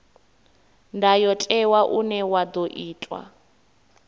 ndayotewa une wa ḓo itwa